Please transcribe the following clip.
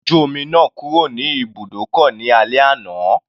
Ọkọ̀ ojú omi náà kúrò ní ibùdókọ̀ ní alẹ́ àná.